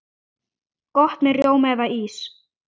Gott með rjóma eða ís.